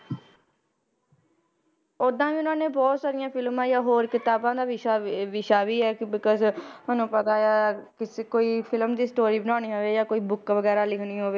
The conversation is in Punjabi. ਓਦਾਂ ਵੀ ਉਹਨਾਂ ਨੇ ਬਹੁਤ ਸਾਰੀਆਂ ਫਿਲਮਾਂ ਜਾਂ ਹੋਰ ਕਿਤਾਬਾਂ ਦਾ ਵਿਸ਼ਾ, ਵ~ ਵਿਸ਼ਾ ਵੀ ਹੈ ਕਿ because ਤੁਹਾਨੂੰ ਪਤਾ ਆ, ਕਿਸੇ ਕੋਈ film ਦੀ story ਬਣਾਉਣੀ ਹੋਵੇ ਜਾਂ ਕੋਈ book ਵਗ਼ੈਰਾ ਲਿਖਣੀ ਹੋਵੇ,